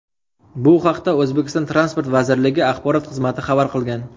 Bu haqda O‘zbekiston transport vazirligi axborot xizmati xabar qilgan .